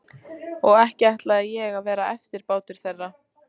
Og ekki ætlaði ég að verða eftirbátur þeirra.